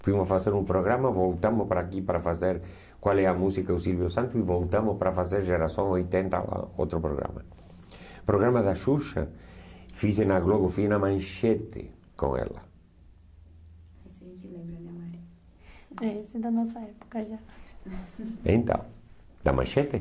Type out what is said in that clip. Fomos fazer um programa, voltamos para aqui para fazer Qual é a música do Silvio Santos. E voltamos para fazer Geração oitenta lá. Outro programa. Programa da Xuxa, fiz em na Globo fui na Manchete com ela. É, isso é da nossa época já. Então... Da Manchete?